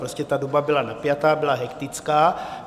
Prostě ta doba byla napjatá, byla hektická.